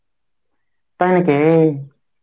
তাই নাকি?